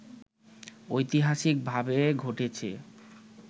ঐতিহাসিক ভাবে ঘটেছে